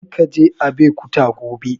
Kar ka je Abeokuta gobe!